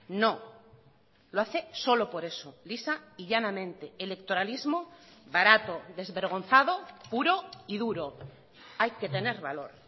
no lo hace solo por eso lisa y llanamente electoralismo barato desvergonzado puro y duro hay que tener valor